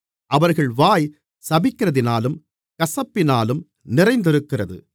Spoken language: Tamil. அவர்கள் வாய் சபிக்கிறதினாலும் கசப்பினாலும் நிறைந்திருக்கிறது